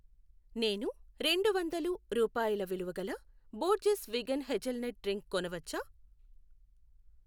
నేను రెండు వందలు రూపాయల విలువగల బోర్జెస్ విగన్ హెజల్నట్ డ్రింక్ కొనవచ్చా?